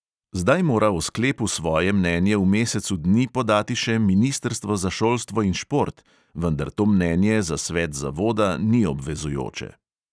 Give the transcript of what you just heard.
Zdaj mora o sklepu svoje mnenje v mesecu dni podati še ministrstvo za šolstvo in šport, vendar to mnenje za svet zavoda ni obvezujoče.